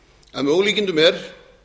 að með ólíkindum er